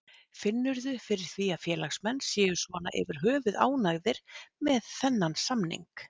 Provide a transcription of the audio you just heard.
Finnurðu fyrir því að félagsmenn séu svona yfir höfuð ánægðir með þennan samning?